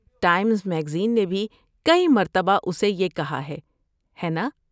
Times magazine کے بھی کئی مرتبہ اسے یہ کہا ہے، ہے نا؟